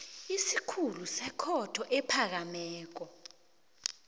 isikhulu sekhotho ephakemeko